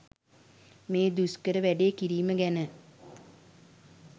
මේ දුෂ්කර වැඩේ කිරීම ගැන